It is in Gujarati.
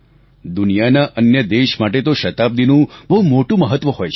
દુનિયાના અન્ય દેશ માટે તો શતાબ્દીનું બહુ મોટું મહત્વ હોય છે